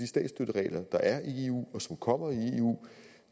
statsstøtteregler der er i eu og som kommer i eu